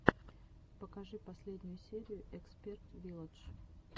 покажи последнюю серию эксперт вилладж